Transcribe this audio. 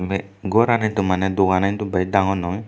ebe gor hintu mane duganan hintu bej dangor noi.